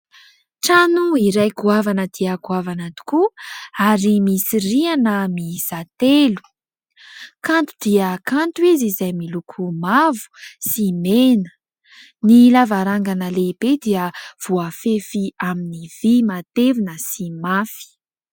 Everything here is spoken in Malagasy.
Trano iray goavana dia goavana tokoa ary misy rihana miisa telo. Kanto dia kanto izy, izay miloko mavo sy mena. Ny lavarangana lehibe dia voafefy amin'ny vy matevina sy mafy.